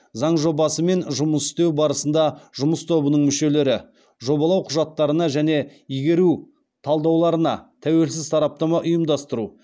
заң жобасымен жұмыс істеу барысында жұмыс тобының мүшелері жобалау құжаттарына және игеру талдауларына тәуелсіз сараптама ұйымдастыру